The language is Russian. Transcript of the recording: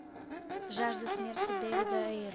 жажда смерти дэйвида